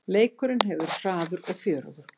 Leikurinn hefur verið hraður og fjörugur